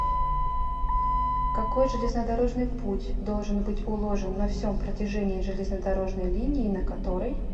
какой железнодорожный путь должен быть уложен на всем протяжении железнодорожной линии на которой